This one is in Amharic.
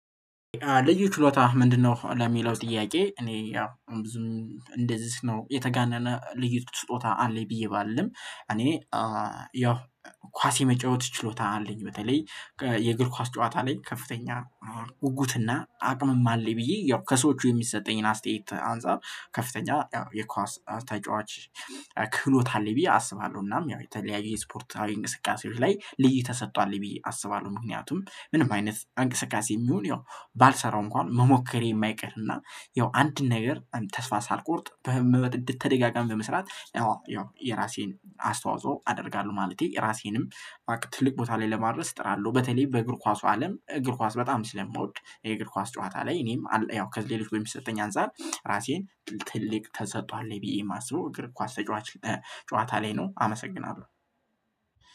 ልዩ ችሎታህ ምንድነው? ለሚለው ጥያቄ እኔ ያው ብዙም እንደዚህ ነው የተጋነነ ልዩት ስጦታ አለኝ ብዬ ባልልም እኔ ያው ኳስ የመጫወት ችሎታ አለኝ። በተለይ የእግር ኳስ ጨዋታ ላይ ከፍተኛ ጉጉት እና አቅምም አለኝ ብዬ ያው ከሰዎቹ የሚሰጠኝን አስተያየት አንፃር ከፍተኛ የኳስ ተጫዋች ክህሎት አለ ብዬ አስባለሁ እናም ያው የተለያዩ ስፖርታዊ እንቅስቃሴዎች ላይ ልዩ ተሰጥእኦ አለኝ ብዬ አስባለሁ። ምክንያቱም ምንም አይነት አንቅስቃሴም ይሁን ያው ባልሰራው እንኳን መሞከሬ የማይቀርና ያው አንድን ነገር ተስፋ ሳልቆርጥ በመወ በተደጋጋሚ በመስራት ያው የራሴን አስተዋጽኦ አደርጋለሁ ማለቴ ራሴንም ትልቅ ቦታ ላይ ለማድረስ እጥራለሁ። በተለይ በእግር ኳሱ አለም እግር ኳስ በጣም ስለምወድ የእግር ኳስ ጨዋታ ላይ እኔም ያው ከዚህ ሌሎች በሚሰጠኝ አንፃር ራሴን ትልቅ ተሰጥእኦ አለኝ ብዬ ማስበው እግር ኳስ ተጫዋች ጨዋታ ላይ ነው። አመሰግናለሁ